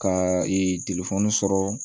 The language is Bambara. Ka sɔrɔ